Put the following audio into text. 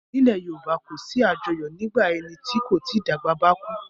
Nílẹ̀ Yorùbá kì í sí àjọyọ̀ nígbà ẹni tí kò tí dàgbà bá kú.